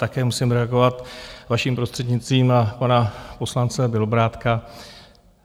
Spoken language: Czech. Také musím reagovat vaším prostřednictvím na pana poslance Bělobrádka.